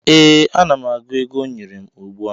Ee, ana m agụ ego ọ nyere m ugbu a